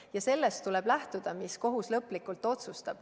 Ja sellest tuleb lähtuda, mis kohus lõplikult otsustab.